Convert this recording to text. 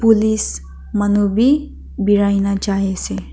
police manu b berai na jai ase.